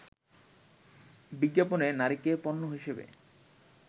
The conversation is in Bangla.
বিজ্ঞাপনে নারীকে পণ্য হিসেবে